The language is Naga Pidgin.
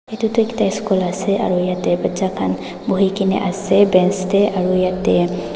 edu tu ekta school ase aro yatae bacha khan buhikae na ase bench tae aro yatae--